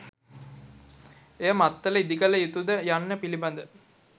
එය මත්තල ඉදිකළ යුතුද යන්න පිළිබඳ